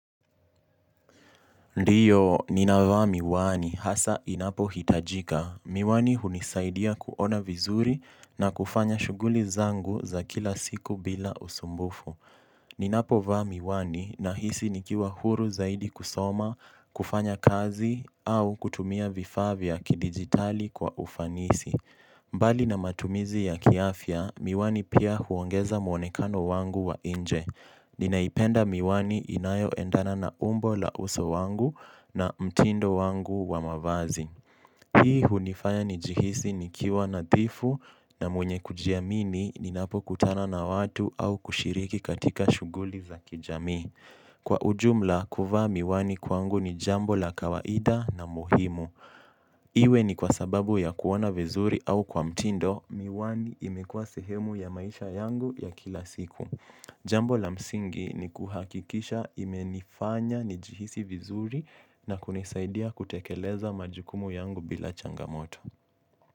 Ndiyo, ninavaa miwani, hasa inapo hitajika. Miwani hunisaidia kuona vizuri na kufanya shuguli zangu za kila siku bila usumbufu. Ninapo vaa miwani, nahisi nikiwa huru zaidi kusoma, kufanya kazi, au kutumia vifaa vya kidigitali kwa ufanisi. Mbali na matumizi ya kiafia, miwani pia huongeza muonekano wangu wa inje. Ni naipenda miwani inayo endana na umbo la uso wangu na mtindo wangu wa mavazi. Hii hunifanya ni jihisi nikiwa nadhifu na mwenye kujiamini ninapo kutana na watu au kushiriki katika shuguli za kijamii. Kwa ujumla, kuvaa miwani kwangu ni jambo la kawaida na muhimu. Iwe ni kwa sababu ya kuona vizuri au kwa mtindo, miwani imekua sehemu ya maisha yangu ya kila siku. Jambo la msingi ni kuhakikisha imenifanya nijihisi vizuri na kunisaidia kutekeleza majukumu yangu bila changamoto.